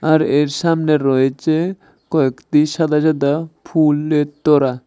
আর এর সামনে রয়েচে কয়েকতি সাদা সাদা ফুলের তোড়া।